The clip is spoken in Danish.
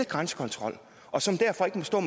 grænsekontrol og som derfor ikke må stå